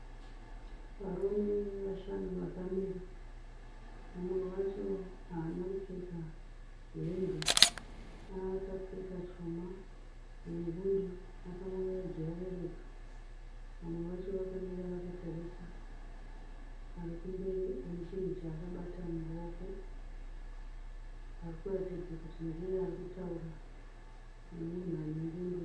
Varume vashanu vakamira. Mumwe wacho haana kupfeka hembe akapfeka chuma nengundu akamonera jira reredzo. Vamwe vacho vakamira vakatarisa. Arikumberi ane chinhu chaakabata muruoko arikuratidza kuti ndiye arikutaura nemunhu anengundu.